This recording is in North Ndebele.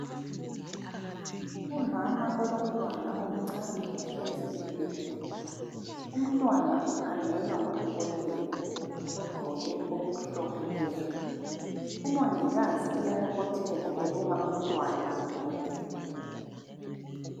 Umama olomntwana omncane ohlezi embhedeni. Umntwana ukhangelwa ngudokotela ogqoke okumhlophe. Umongikazi uyabobotheka ebuka umntwana lodokotela.